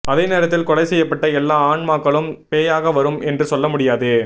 அதே நேரத்தில் கொலை செய்யப்பட்ட எல்லா ஆன்மாக்களும் பேயாக வரும் என்று சொல்ல முடியாது